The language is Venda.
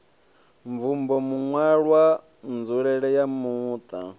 mvumbo maṋwalwa nzulele ya muṱa